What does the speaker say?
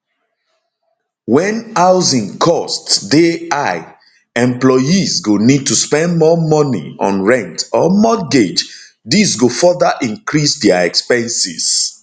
wen housing costs dey high dey high employees go need to spend more money on rent or mortgage dis go further increase dia expenses